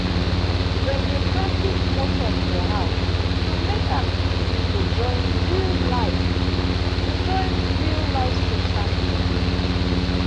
dem dey practice small talk for house to make am easy to join real-life to join real-life social things.